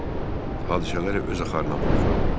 Hadisələri öz axarına buraxım.